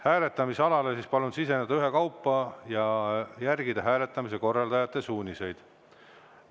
Hääletamisalale palun siseneda ühekaupa ja järgida hääletamise korraldajate suuniseid.